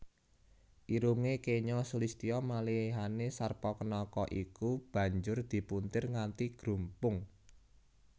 Irungé kenya sulistya malihané Sarpakenaka iku banjur dipuntir nganti grumpung